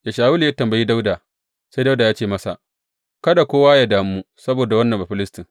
Da Shawulu ya tambayi Dawuda, sai Dawuda ya ce masa, Kada kowa yă damu saboda wannan Bafilistin.